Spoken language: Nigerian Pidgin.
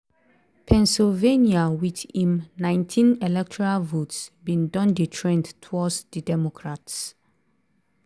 pennsylvania with im19 electoral votes bin don dey trend towards di democrats.